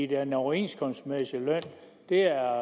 den overenskomstmæssige løn er